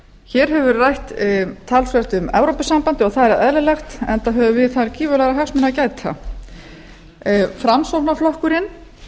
hér hefur verið rætt talsvert um evrópusambandið og það er eðlilegt enda höfum við þar gífurlegra hagsmuna að gæta framsóknarflokkurinn